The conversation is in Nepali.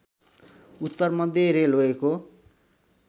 उत्तर मध्य रेलवेको